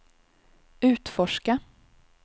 utforska